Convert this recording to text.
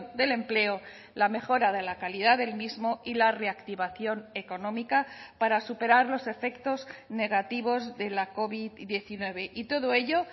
del empleo la mejora de la calidad del mismo y la reactivación económica para superar los efectos negativos de la covid diecinueve y todo ello